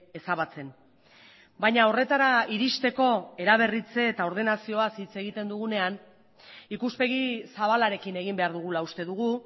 ezabatzen baina horretara iristeko eraberritze eta ordenazioaz hitz egiten dugunean ikuspegi zabalarekin egin behar dugula uste dugu